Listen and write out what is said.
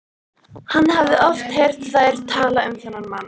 Hann hafði oft heyrt þær tala um þennan mann.